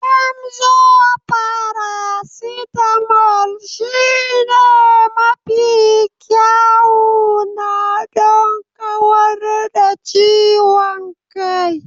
Emzor faracetamol shine mafi kyawuna don kawar da ciwon kai.